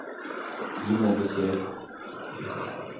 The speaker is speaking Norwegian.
Gi meg beskjed